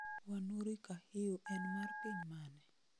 wanuri kahiu en ma piny mane?